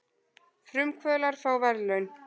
Frumkvöðlar fá verðlaun